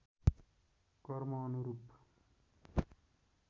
कर्म अनुरूप